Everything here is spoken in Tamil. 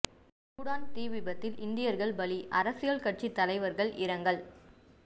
சூடான் தீ விபத்தில் இந்தியர்கள் பலி அரசியல் கட்சி தலைவர்கள் இரங்கல்